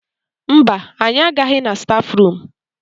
Mba, anyị agaghị na stafrum.